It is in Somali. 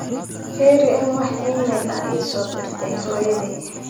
firi in aa wax iimayl ah isoo dirtay hoyoday